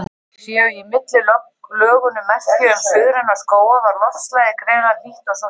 Séu í millilögunum merki um suðræna skóga var loftslagið greinilega hlýtt, og svo framvegis.